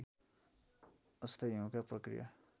अस्थायी हिउँका प्रक्रिया